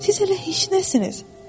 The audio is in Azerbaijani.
Siz hələ heç nəsiniz.